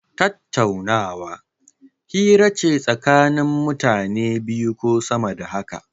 Tattaunawa, hira ce tsakanin mutane biyu ko sama da haka.